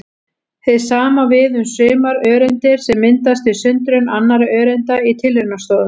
Hið sama á við um sumar öreindir sem myndast við sundrun annarra öreinda í tilraunastofum.